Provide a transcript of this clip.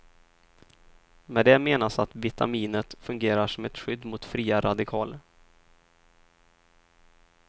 Med det menas att vitaminet fungerar som ett skydd mot fria radikaler.